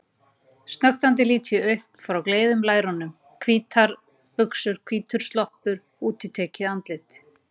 Snöktandi lít ég upp frá gleiðum lærunum: Hvítar buxur, hvítur sloppur, útitekið andlit.